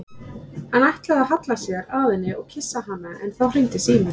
Hann ætlaði að halla sér að henni og kyssa hana en þá hringdi síminn.